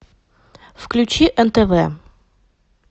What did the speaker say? включи нтв